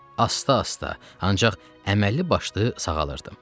Asta-asta, ancaq əməlli başlı sağalırdım.